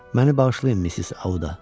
Məni bağışlayın, Missis Audda.